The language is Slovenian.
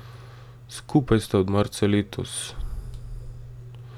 Skupaj sta od marca letos.